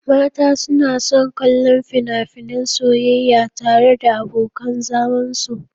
Mata suna son kallon fina-finan soyayya tare da abokan zamansu.